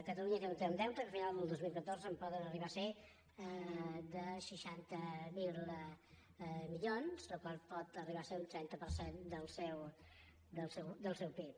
catalunya té un deute que a finals del dos mil catorze pot arribar a ser de seixanta miler milions la qual cosa pot arribar a ser un trenta per cent del seu pib